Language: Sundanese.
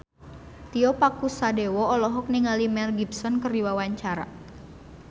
Tio Pakusadewo olohok ningali Mel Gibson keur diwawancara